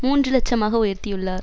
மூன்று இலட்சம் ஆக உயர்த்தியுள்ளார்